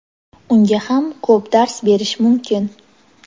unga ham ko‘p dars berish mumkin.